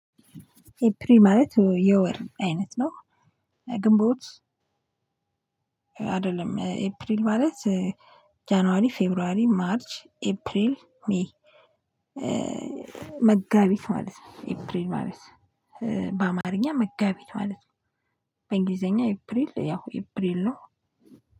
ኤፕሪል ማለት የወር አይነት ነው። ግንቦት አይደለም ኤፕሪል ማለት ጃንዋሪ ፌብራሪ ማርጅ ኤፕሪል ሜይ። መጋቢት ማለት ነው ኢፕሪል ማለት በአማርኛ መጋቢት ማለት ነው። በእንግሊዘኛ ኤፕሪል ያው ኤፕሪል ነው።